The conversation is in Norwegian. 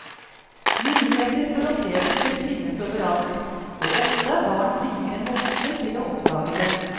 Muligheter for opplevelser finnes overalt, og ofte er barn flinkere enn voksne til å oppdage dem.